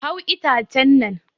Hau itacen nan!